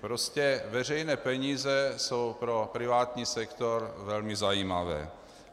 Prostě veřejné peníze jsou pro privátní sektor velmi zajímavé.